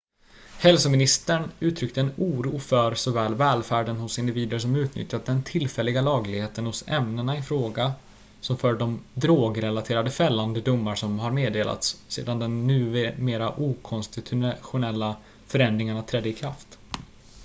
hälsoministern uttryckte en oro för såväl välfärden hos individer som utnyttjat den tillfälliga lagligheten hos ämnena i fråga som för de drog-relaterade fällande domar som har meddelats sedan de numera okonstitutionella förändringarna trädde i kraft